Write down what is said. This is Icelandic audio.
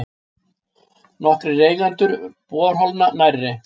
Nokkrir eigendur borholna nærri